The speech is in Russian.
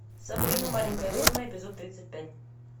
сабрина маленькая ведьма эпизод тридцать пять